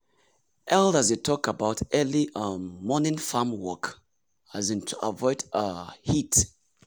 elders dey talk about early um morning farm work um to avoid um heat.